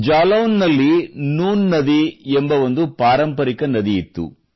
ಜಾಲೌನ್ ನಲ್ಲಿ ನೂನ್ ನದಿ ಎಂಬ ಒಂದು ಪಾರಂಪರಿಕ ನದಿಯಿತ್ತು